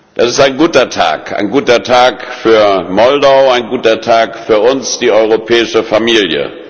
Das ist ein guter Tag ein guter Tag für Moldau, ein guter Tag für uns, die europäische Familie.